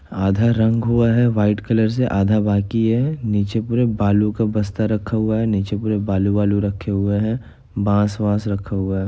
आधा रंग हुआ है व्हाइट कलर से आधा बाकी है नीचे पूरा बालू का बस्ता रखा हुआ है नीचे पूरे बालू-बालू रखे हुए हैं बास-वास रखा हुआ है।